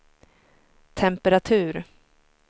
temperatur